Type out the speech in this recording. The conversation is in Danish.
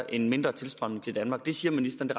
en mindre tilstrømning til danmark det siger ministeren